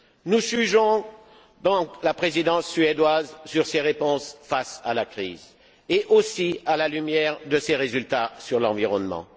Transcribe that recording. Nous jugerons donc la Présidence suédoise sur ses réponses face à la crise et à la lumière de ses résultats sur l'environnement.